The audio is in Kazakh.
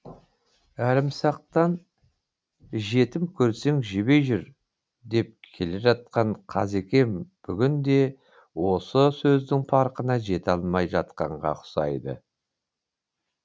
әлімсақтан жетім көрсең жебей жүр деп келе жатқан қазекем бүгінде осы сөздің парқына жете алмай жатқанға ұқсайды